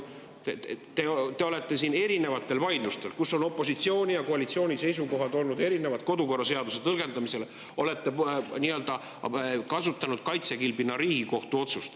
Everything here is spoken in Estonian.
Te olete siin erinevates vaidlustes, kus on opositsiooni ja koalitsiooni seisukohad olnud erinevad kodukorraseaduse tõlgendamisel, kasutanud nii-öelda kaitsekilbina Riigikohtu otsust.